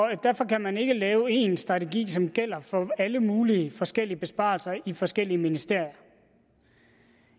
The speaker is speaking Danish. derfor kan man ikke lave en strategi som gælder for alle mulige forskellige besparelser i forskellige ministerier